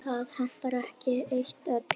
Það hentar ekki eitt öllum.